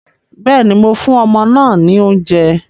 Bẹ́ẹ̀ni, mo fún ọmọ náà ní oúnjẹ